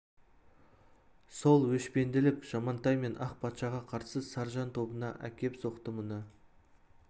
сол өшпенділік жамантай мен ақ патшаға қарсы саржан тобына әкеп қосты мұны